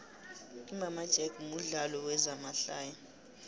imama jack mudlalo wezama hlaya